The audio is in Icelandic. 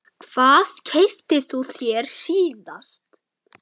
Hvað keyptir þú þér síðast?